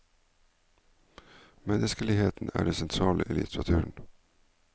Menneskeligheten er det sentrale i litteraturen.